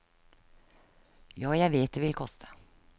Ja, jeg vet det vil koste.